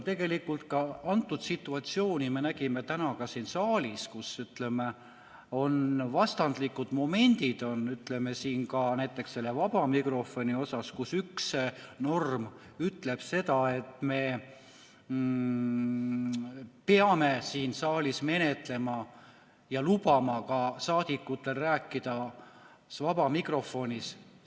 Tegelikult antud situatsiooni me nägime täna ka siin saalis, kus on vastandlikud momendid näiteks selle vaba mikrofoni osas, kus üks norm ütleb seda, et me peame siin saalis menetlema ja lubama ka saadikutel rääkida vabas mikrofonis.